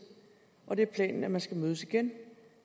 og det er planen at man skal mødes igen